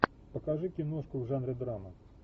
покажи киношку в жанре драма